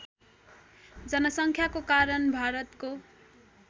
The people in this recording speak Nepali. जनसङ्ख्याको कारण भारतको